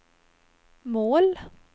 mål